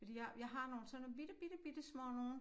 Fordi jeg jeg har nogle sådan nogle bitte bitte bittesmå nogle